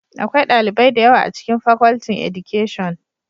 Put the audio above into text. Akwai dalibai da yawa a cikin Facultin Education